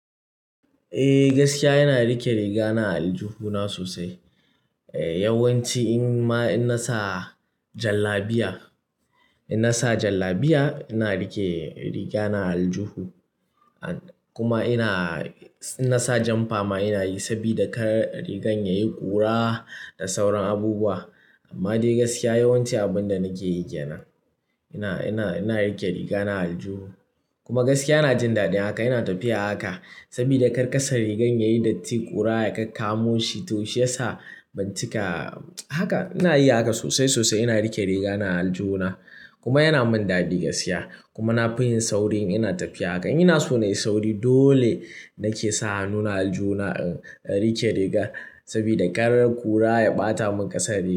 Eh, gaskiya ina rike rigana a aljuhu na sosai. Yawanci in ma, in nasa jallabiya, in nasa jallabiya ina rike rigana a aljuhu. Kuma ina, in nasa janfa ma ina yi saboda kar rigar yayi ƙura da sauran abubuwa. Amma dai gaskiya yawanci abun da nake yi kenan. Ina, ina, ina rike riga na a aljihu. Kuma gaskiya ina jin daɗin haka, ina tafiya haka saboda kar ƙasar rigan yayi datti, ƙura ya kakkamo shi toh shi yasa bancika. Haka ina yin haka sosai, sosai ina rike riga na a aljihu na. Kuma yana min daɗi gaskiya. Kuma na fi yin sauri in ina tafiya haka. Ina so na yi sauri dole nake sa hannuna aljihu na in rike riga saboda kar ƙura ya ɓata min ƙasar riga.